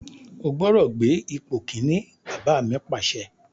O gbọ́dọ̀ gbé ipò Kínní! Bàbá mi Pàṣẹ.